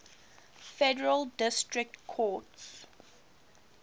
federal district courts